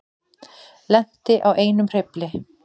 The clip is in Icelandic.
Lenti á einum hreyfli